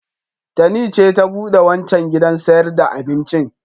Tani ce ta buɗe wancan gidan sayar da abincin.